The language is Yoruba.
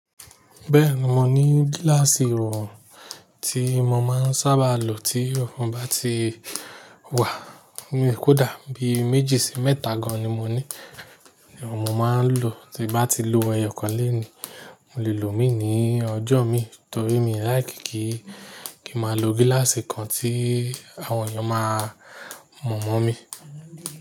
Bẹ́ẹ̀ni, mo ní gíláàsì ọrùn tí mo máa ń sábà lo tí ọrùn bá ti wà ní kódà bí méjì sí mẹ́ta gan-an ni mo ní. Ni mo máa ń lò tí bá ti lo ẹyọkan lẹ́ẹ̀ni. Mo lè lò ó mi ní ọjọ́ mi torí mi ò like kí, kí máa lo gíláàsì kan tí àwọn èèyàn máa mọ̀ mọ́ mi.